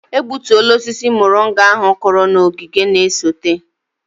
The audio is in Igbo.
A gbutuola osisi moringa ahu kụrụ na ogige na-esote.